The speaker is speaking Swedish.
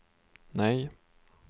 nej